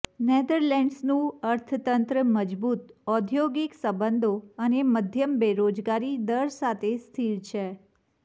નેધરલેન્ડ્સનું અર્થતંત્ર મજબૂત ઔદ્યોગિક સંબંધો અને મધ્યમ બેરોજગારી દર સાથે સ્થિર છે